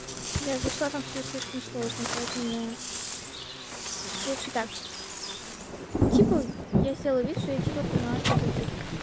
я зашла там всё слишком сложно поэтому я лучше так типа я сделаю вид что типа поняла что за цифры